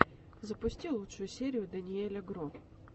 запусти лучшую серию дэниеля гро